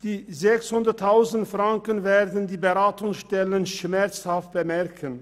Die 600 000 Franken werden die Beratungsstellen schmerzhaft bemerken.